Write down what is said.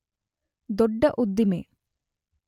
ದೊಡ್ಡ ಉದ್ದಿಮೆ